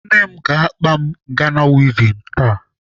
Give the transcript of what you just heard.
Ne m ga-akpa m Ghana wivin taa.